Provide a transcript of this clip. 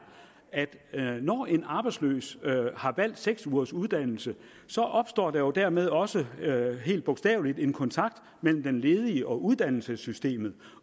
at når en arbejdsløs har valgt seks ugers uddannelse opstår der jo dermed også helt bogstaveligt en kontakt mellem den ledige og uddannelsessystemet